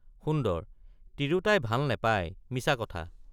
সুন্দৰ— তিৰোতাই ভাল নেপায়—মিছা কথা।